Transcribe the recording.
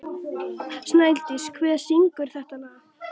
Snædís, hver syngur þetta lag?